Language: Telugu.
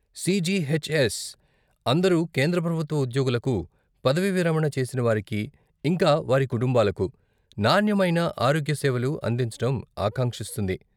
సీజీహెచ్ఎస్ అందరు కేంద్ర ప్రభుత్వ ఉద్యోగులకు, పదవీ విరమణ చేసినవారికీ, ఇంకా వారి కుటుంబాలకు, నాణ్యమైన ఆరోగ్యసేవలు అందించటం ఆకాంక్షిస్తుంది.